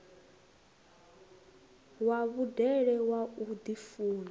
wa vhudele wa u ḓifuna